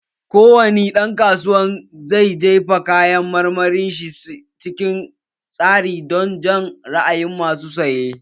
Ko wani dan kasuwa zai jera kayan marmarin shi cikin tsari don jan ra'ayin masu saye